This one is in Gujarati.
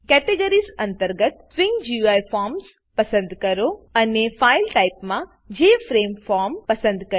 કેટેગરીઝ અંતર્ગત સ્વિંગ ગુઈ ફોર્મ્સ પસંદ કરો અને ફાઇલ ટાઇપ માં જેએફઆરએમઈ ફોર્મ પસંદ કરી